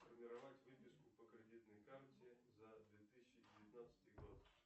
сформировать выписку по кредитной карте за две тысячи девятнадцатый год